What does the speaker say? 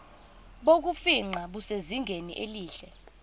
bokufingqa busezingeni elihle